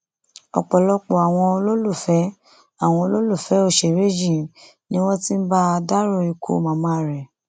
ọpọlọpọ àwọn olólùfẹ àwọn olólùfẹ òṣèré yìí ni wọn ti ń bá a dárò ikú màmá rẹ